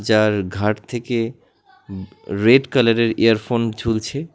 যার ঘাড় থেকে রেড কালারের ইয়ারফোন ঝুলছে।